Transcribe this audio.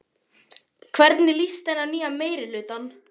Hvernig líst henni á nýja meirihlutann?